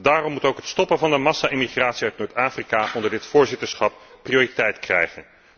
Daarom moet ook het stoppen van de massa emigratie uit Noord Afrika onder dit voorzitterschap prioriteit krijgen.